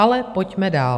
Ale pojďme dál.